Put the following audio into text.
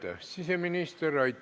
Aitäh, siseminister!